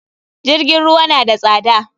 JIrgin ruwa na da tsada.